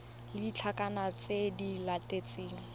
le ditlankana tse di latelang